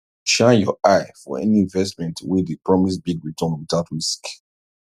shine your eye for any investment wey dey promise big return without risk